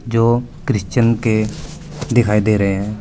जो क्रिश्चियन के दिखाई दे रहे हैं।